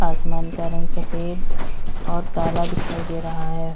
आसमान का रंग सफेद और काल दिखाई दे रहा है।